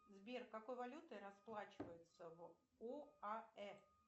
сбер какой валютой расплачиваются в оаэ